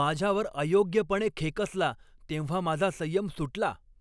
माझ्यावर अयोग्यपणे खेकसला तेव्हा माझा संयम सुटला.